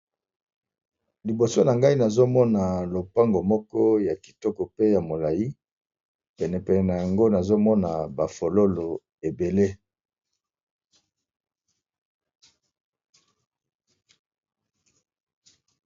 Liboso na ngai nazomona lopango moko ya kitoko pe ya molai penepenene yango nazomona bafololo ebele.